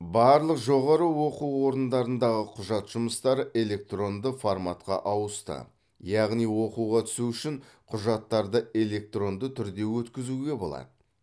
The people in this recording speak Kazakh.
барлық жоғары оқу орындарындағы құжат жұмыстары электронды форматқа ауысты яғни оқуға түсу үшін құжаттарды электронды түрде өткізуге болады